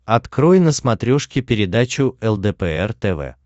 открой на смотрешке передачу лдпр тв